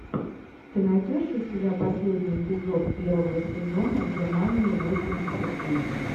ты найдешь у себя последний эпизод первого сезона германия восемьдесят три